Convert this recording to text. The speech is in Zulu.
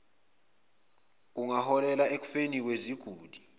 kungaholela ekufeni kweziguli